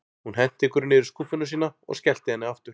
Hún henti einhverju niður í skúffuna sína og skellti henni aftur.